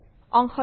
Ltd